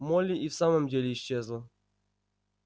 молли и в самом деле исчезла